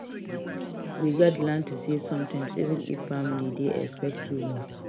We gats learn to say no sometimes even if family dey expect too much.